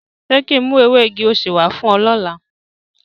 Ṣe kin mu ewe igi osé wa fun o lọla?